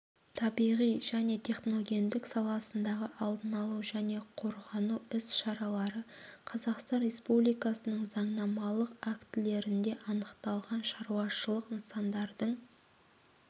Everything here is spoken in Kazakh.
табиғи және техногендік саласындағы алдын алу және қорғану іс-шаралары қазақстан республикасының заңнамалық актілерінде анықталған шаруашылық нысандардың